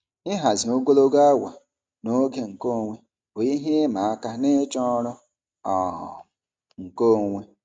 Ịhazi ogologo awa na oge nkeonwe bụ ihe ịma aka n'ịchọ ọrụ um nkeonwe.